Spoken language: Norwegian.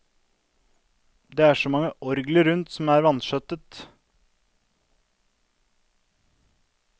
Det er så mange orgler rundt om som er vanskjøttet.